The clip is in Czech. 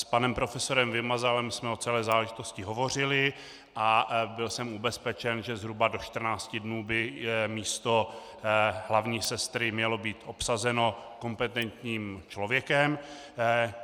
S panem profesorem Vymazalem jsem o celé záležitosti hovořili a byl jsem ubezpečen, že zhruba do 14 dnů by místo hlavní sestry mělo být obsazeno kompetentním člověkem.